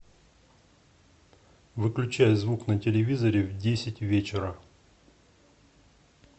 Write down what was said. выключай звук на телевизоре в десять вечера